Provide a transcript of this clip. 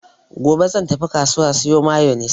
Gobe zan tafi kasuwa siyo mayonis.